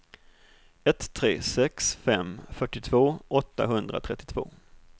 ett tre sex fem fyrtiotvå åttahundratrettiotvå